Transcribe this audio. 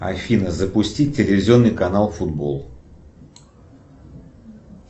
афина запусти телевизионный канал футбол